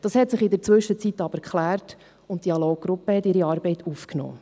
Das hat sich in der Zwischenzeit aber geklärt, und die Dialoggruppe hat ihre Arbeit aufgenommen.